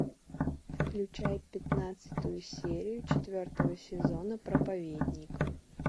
включай пятнадцатую серию четвертого сезона проповедник